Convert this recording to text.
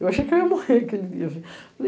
Eu achei que eu ia morrer aquele dia.